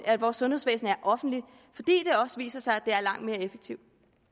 at vores sundhedsvæsen er offentligt fordi det også viser sig at det er langt mere effektivt